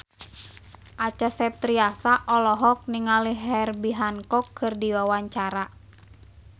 Acha Septriasa olohok ningali Herbie Hancock keur diwawancara